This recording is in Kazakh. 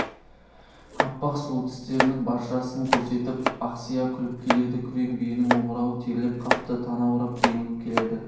аппақ сұлу тістерінің баршасын көрсетіп ақсия күліп келеді күрең биенің омырауы терлеп қапты танаурап демігіп келеді